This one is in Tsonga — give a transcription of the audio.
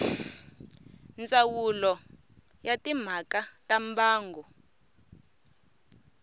ndzawulo ya timhaka ta mbango